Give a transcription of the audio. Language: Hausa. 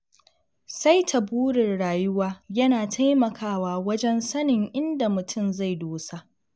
Saita burin rayuwa yana taimakawa wajen sanin inda mutum zai dosa.